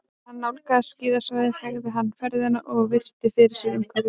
Þegar hann nálgaðist skíðasvæðið hægði hann ferðina og virti fyrir sér umhverfið.